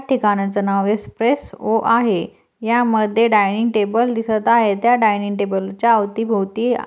ठिकानाच नाव espresso आहे या मध्ये डाइनिग टेबल दिसत आहेतत्या डाइनिग टेबलच्या आवती भोवती--